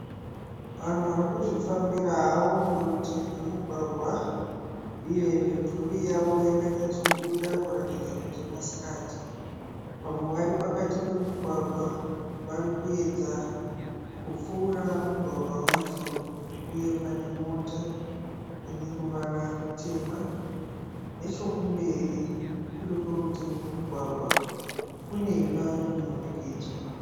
Vanhu varikuzvifambira havo murutivi memugwagwa uye mimvuri yavo yakanyatsobuda kutaridza kuti masikati. Vamwe vari pakati pemugwagwa, varikuedza kupfuura mugwagwa wacho uye pane mota ine ruvara rutema. Nechokumberi, kuri kurutivi kwemugwagwa kune imba yemunhurikidzwa